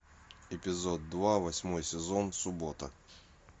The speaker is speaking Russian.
эпизод два восьмой сезон суббота